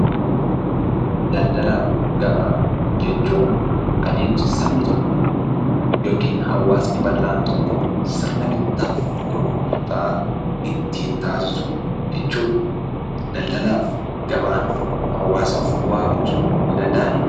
Daldalaa fi Gabaa jechuun adeemsa sabni tokko yookiin hawaasni bal'aan tokko sirna bittaa fi gurgurtaa ittiin taasisu jechuudha. Daldalaa fi gabaan hawaasaaf bu'aa buusuu hin danda'an.